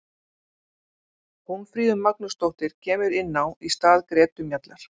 Hólmfríður Magnúsdóttir kemur inná í stað Gretu Mjallar.